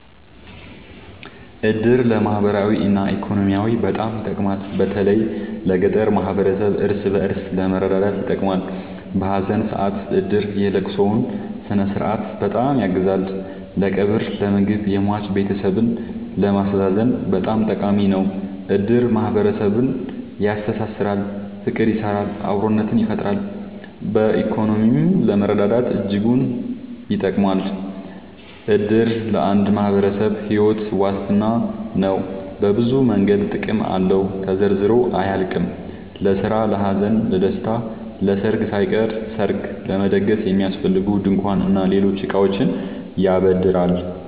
እድር ለማህበራዊ እና ኢኮኖሚያዊ በጣም ይጠቅማል። በተለይ ለገጠር ማህበረሰብ እርስ በእርስ ለመረዳዳት ይጠቅማል። በሀዘን ሰአት እድር የለቅሶውን ስነስርዓት በጣም ያግዛል ለቀብር ለምግብ የሟች ቤተሰብን ለማስተዛዘን በጣም ጠቃሚ ነው። እድር ማህረሰብን ያስተሳስራል። ፍቅር ይሰራል አብሮነትን ይፈጥራል። በኢኮኖሚም ለመረዳዳት እጅጉን ይጠብማል። እድር ለአንድ ማህበረሰብ ሒወት ዋስትና ነው። በብዙ መንገድ ጥቅም አለው ተዘርዝሮ አያልቅም። ለስራ ለሀዘን ለደሰታ። ለሰርግ ሳይቀር ሰርግ ለመደገስ የሚያስፈልጉ ድንኳን እና ሌሎች እቃዎችን ያበድራል